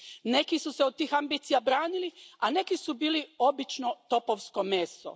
Neki su se od tih ambicija branili, a neki su bili obično topovsko meso.